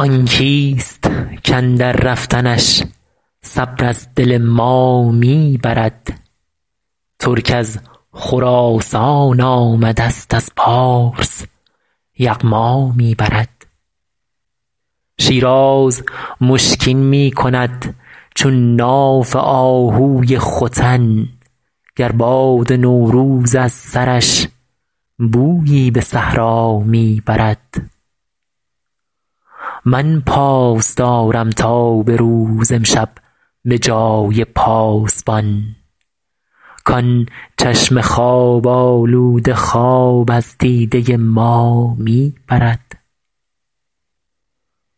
آن کیست کاندر رفتنش صبر از دل ما می برد ترک از خراسان آمدست از پارس یغما می برد شیراز مشکین می کند چون ناف آهوی ختن گر باد نوروز از سرش بویی به صحرا می برد من پاس دارم تا به روز امشب به جای پاسبان کان چشم خواب آلوده خواب از دیده ما می برد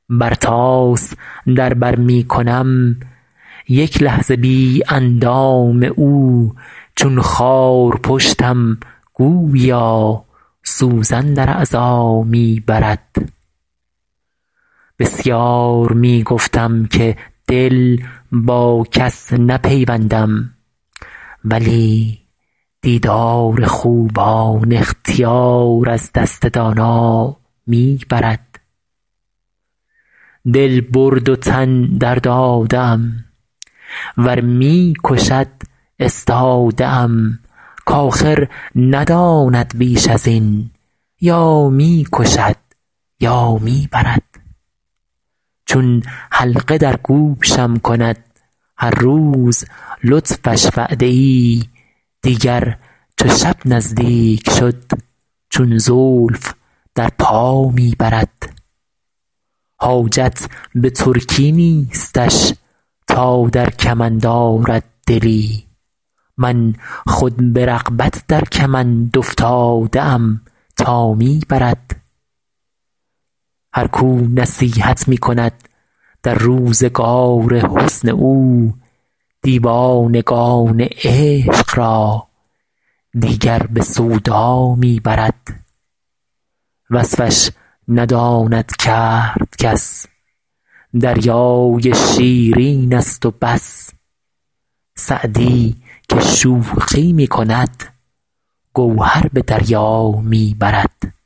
برتاس در بر می کنم یک لحظه بی اندام او چون خارپشتم گوییا سوزن در اعضا می برد بسیار می گفتم که دل با کس نپیوندم ولی دیدار خوبان اختیار از دست دانا می برد دل برد و تن درداده ام ور می کشد استاده ام کآخر نداند بیش از این یا می کشد یا می برد چون حلقه در گوشم کند هر روز لطفش وعده ای دیگر چو شب نزدیک شد چون زلف در پا می برد حاجت به ترکی نیستش تا در کمند آرد دلی من خود به رغبت در کمند افتاده ام تا می برد هر کو نصیحت می کند در روزگار حسن او دیوانگان عشق را دیگر به سودا می برد وصفش نداند کرد کس دریای شیرینست و بس سعدی که شوخی می کند گوهر به دریا می برد